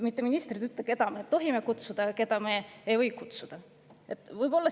Mitte ministrid ei peaks ütlema, keda me tohime kutsuda ja keda me ei või kutsuda.